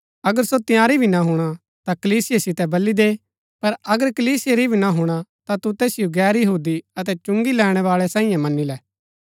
अगर सो तंयारी भी ना हुणा ता कलीसिया सितै बली दे पर अगर कलीसिया री भी ना हुणा ता तु तैसिओ गैर यहूदी अतै चुंगी लैणैवाळै साईये मनी लै